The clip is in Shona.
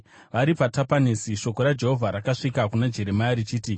Vari paTapanesi, shoko raJehovha rakasvika kuna Jeremia, richiti,